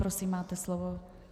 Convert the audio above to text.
Prosím, máte slovo.